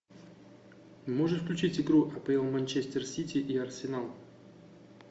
можешь включить игру апл манчестер сити и арсенал